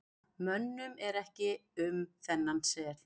mönnum er ekki um þennan sel